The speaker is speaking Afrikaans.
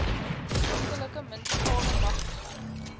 skriftelike munisipale magtiging